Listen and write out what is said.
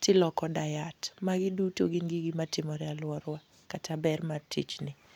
To iloko diet. Magi duto gin gige matimore e alworawa, kata ber mar tijni.